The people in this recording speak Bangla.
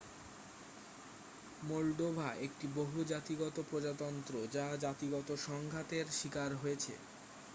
মোল্ডোভা একটি বহু-জাতিগত প্রজাতন্ত্র যা জাতিগত সংঘাতের শিকার হয়েছে